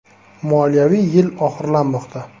“Moliyaviy yil oxirlamoqda.